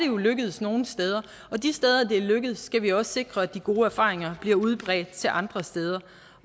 jo lykkedes nogle steder og de steder det er lykkedes skal vi også sikre at de gode erfaringer bliver udbredt til andre steder